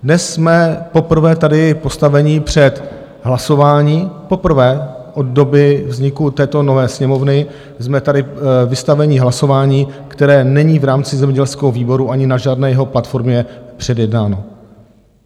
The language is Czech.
Dnes jsme poprvé tady postaveni před hlasování, poprvé od doby vzniku této nové Sněmovny jsme tady vystaveni hlasování, které není v rámci zemědělského výboru ani na žádné jeho platformě předjednáno.